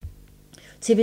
TV 2